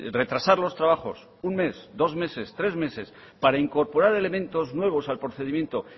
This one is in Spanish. retrasar los trabajos un mes dos meses tres meses para incorporar elementos nuevos al procedimiento